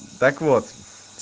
так вот